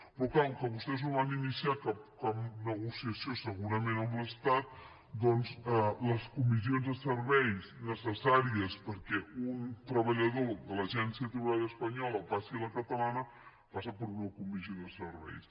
però clar com que vostès no van iniciar cap negociació segurament amb l’estat doncs les comissions de serveis necessàries perquè un treballador de l’agència tributària espanyola passi a la catalana passa per una comissió de serveis